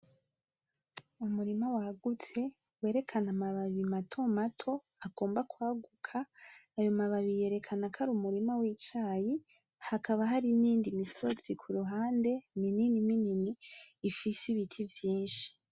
Umurima wagutse werekana amababi matomato agomba kwaguka, ayo mababi yerekana ko ar'umurima w'icayi, hakaba hari n'iyindi misozi kuruhande minini minini ifise ibiti vyinshi.